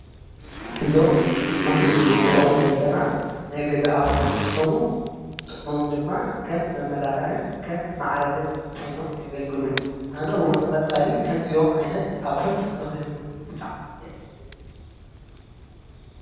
እዞም ኣብ ምስሊ ንሪኦም ዘለና ናይ ገዛ ኣቑሑ እንትኾኑ ጥቕሞም ድማ ከም መመላክዕን ከም ማዕርግን ኮይኖም የገልግሉ፡፡ ኣነ እውን ንቐፃሊ ከምዚኦም ዓይነት ኣቑሑት ንክህልዉኒ ብጣዕሚ እየ ዝደሊ፡፡